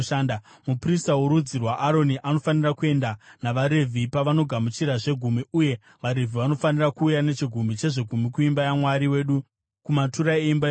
Muprista worudzi rwaAroni anofanira kuenda navaRevhi pavanogamuchira zvegumi, uye vaRevhi vanofanira kuuya nechegumi chezvegumi kuimba yaMwari wedu, kumatura eimba yepfuma.